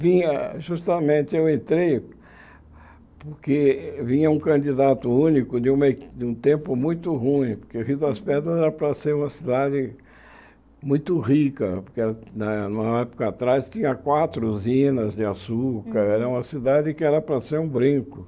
Vinha, justamente, eu entrei porque vinha um candidato único de uma eh de um tempo muito ruim, porque Rio das Pedras era para ser uma cidade muito rica, porque era na na época atrás tinha quatro usinas de açúcar, era uma cidade que era para ser um brinco.